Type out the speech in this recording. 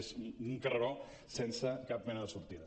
és un carreró sense cap mena de sortida